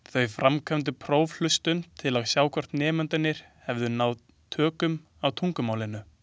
Þau framkvæmdu prófhlustun til að sjá hvort nemendur hefðu náð tökum á tungumálinu.